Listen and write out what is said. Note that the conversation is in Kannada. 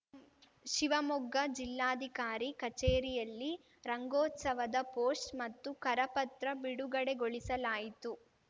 ಶಿವಮೊಗ್ಗ ಜಿಲ್ಲಾಧಿಕಾರಿ ಕಚೇರಿಯಲ್ಲಿ ರಂಗೋತ್ಸವದ ಪೋಸ್ಟ್ ಮತ್ತು ಕರಪತ್ರ ಬಿಡುಗಡೆಗೊಳಿಸಲಾಯಿತು